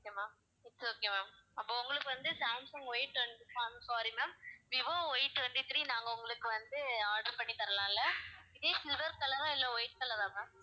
okay ma'am its okay ma'am அப்ப உங்களுக்கு வந்து சாம்சங் Y வந்து sorry ma'am Vivo Y twenty-three நாங்க உங்களுக்கு வந்து order பண்ணி தரலாம் இல்ல இதே silver color ஆ இல்ல white color ஆ ma'am